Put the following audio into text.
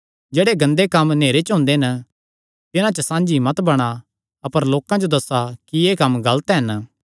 जेह्ड़े गंदे कम्म नेहरे च हुंदे हन तिन्हां च साझी मत बणा अपर लोकां जो दस्सा कि एह़ कम्म गलत हन